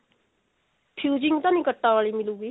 fusing ਤਾਂ ਨਹੀਂ ਕਟਾਂ ਵਾਲੀ ਹੋਏਗੀ